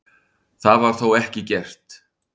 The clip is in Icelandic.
Það var þó ekki gert.